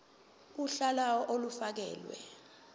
uhla lawo olufakelwe